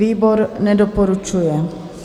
Výbor nedoporučuje.